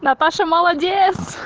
наташа молодец